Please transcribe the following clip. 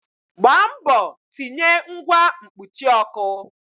Gbaa mbọ tinye ngwa mkpuchi ọkụ!